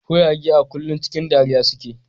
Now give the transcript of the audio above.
Kuraye a kullum cikin dariya suke.